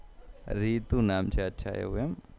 રીતુ નામ છે અચ્છા એવું એમ